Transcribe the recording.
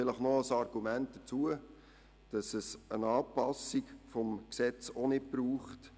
Vielleicht kommt noch das Argument hinzu, dass es auch keine Anpassung im Gesetz braucht.